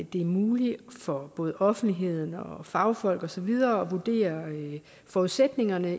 det er muligt for offentligheden fagfolk og så videre at vurdere forudsætningerne